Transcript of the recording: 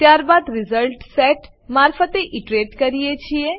ત્યારબાદ આપણે result set મારફતે ઈટરેટ કરીએ છીએ